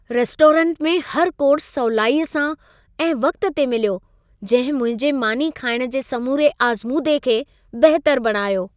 Restaurant में हर course सवलाईअ सां ऐं वक़्त ते मिलियो। जंहिं मुंहिंजे मानी खाइण जे समूरे आज़मूदे खे बहितर बणायो।